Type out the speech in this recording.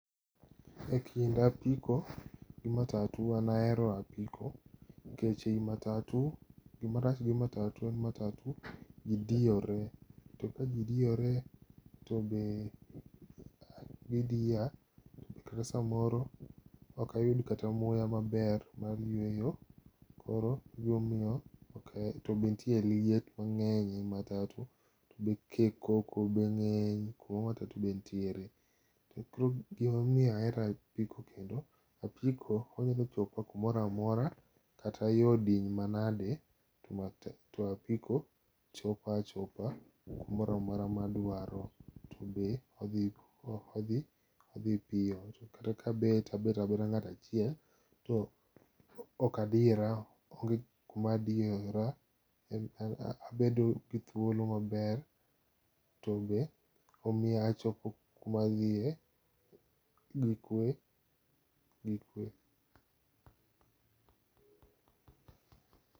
E kind apiko gi matatu an ahero apiko. Keche matatu, gimarach gi matatu en ni matatu gidiyore. To ka gidiyore to be gidiya, kata samoro okayud kata muya maber mar yweyo koro egimomiyo okahe, to be nitie liet mang'eny e matatu. To be ke koko be ng'eny kuma matatu be nitiere. To koro gimomiyo ahero apiko kendo, apiko onyalo chopa kumoramora kata yo diny manade to apiko chopa achopa kumoramora ma adwaro. To be odhi, odhi piyo. To kata ka abet, tabetabeta ng'atachiel to okadire, onge kumadiyora, abedo gi thuolo maber. To be omiya achopo kumadhiye gi kwe, gi kwe.